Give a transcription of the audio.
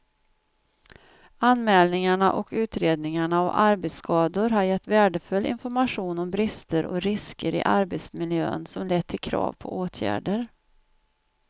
Anmälningarna och utredningarna av arbetsskador har gett värdefull information om brister och risker i arbetsmiljön som lett till krav på åtgärder.